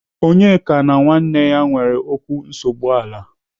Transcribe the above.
Onyeka na nwanne ya nwere okwu nsogbu ala.